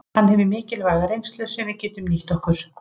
Hann hefur mikilvæga reynslu sem við getum nýtt okkur.